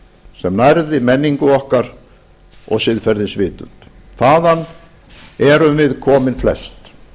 sem nærði menningu okkar og siðferðisvitund þaðan erum við komin flest